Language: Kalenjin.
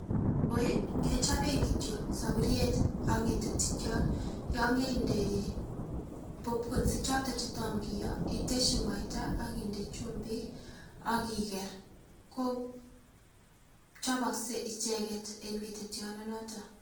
Koroi kechoben kityok soburyet ak ngetetyot yon keinde popcones ichoton che tom kiyoo iteshi muaita ak inde chumbik ak iker ko chobokse icheket en ngetetyot ndonoton.